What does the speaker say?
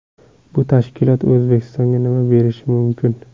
Bu tashkilot O‘zbekistonga nima berishi mumkin?